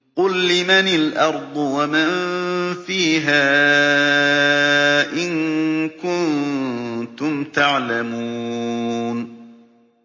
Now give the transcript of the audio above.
قُل لِّمَنِ الْأَرْضُ وَمَن فِيهَا إِن كُنتُمْ تَعْلَمُونَ